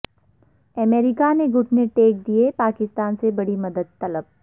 امریکہ نےگھٹنے ٹیک دیئے پاکستان سے بڑی مدد طلب